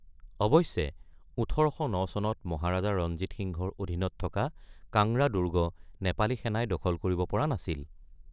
অৱশ্যে, ১৮০৯ চনত মহাৰাজা ৰঞ্জীত সিংহৰ অধীনত থকা কাংৰা দুৰ্গ নেপালী সেনাই দখল কৰিব পৰা নাছিল।